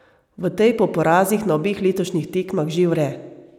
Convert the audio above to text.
V tej po porazih na obeh letošnjih tekmah že vre.